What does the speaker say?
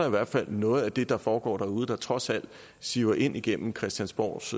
i hvert fald er noget af det der foregår derude der trods alt siver ind igennem christiansborgs